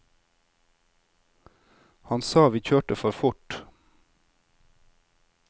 Han sa vi kjørte for fort.